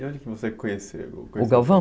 E onde você conheceu? O Galvão?